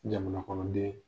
Jamana kɔnɔden.